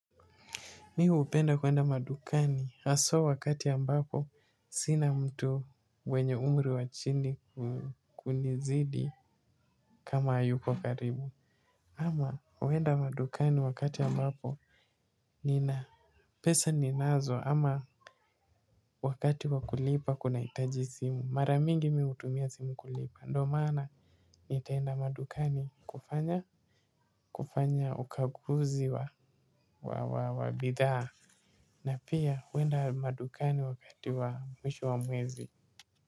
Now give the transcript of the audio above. Mi upenda kuenda madukani haso wakati ambapo sina mtu mwenye umri wachini kunizidi kama ayuko karibu ama wenda madukani wakati ambapo nina pesa ninazo ama wakati wakulipa kuna itaji simu maramingi utumia simu kulipa ndo mana. Nitaenda madukani kufanya kufanya ukaguzi wa wabidhaa na pia wenda madukani wakati wa mwisho wa mwezi.